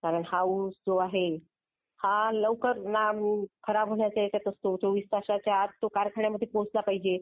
कारण हा ऊस जो आहे. हा लवकर ना खराब होण्याच्या याच्यात असतो. 24 तासाच्या आत. 24 तासाच्या आत तो कारखान्यात पोहोचला पाहिजे.